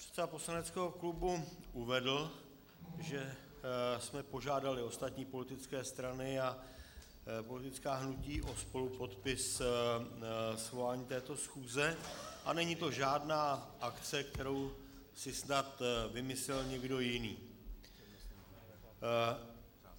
Předseda poslaneckého klubu uvedl, že jsme požádali ostatní politické strany a politická hnutí o spolupodpis svolání této schůze, a není to žádná akce, kterou si snad vymyslel někdo jiný.